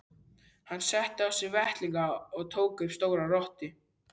Hann setti á sig vettlingana og tók upp stóra rottu.